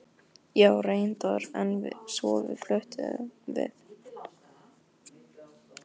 Já, reyndar, en svo fluttum við.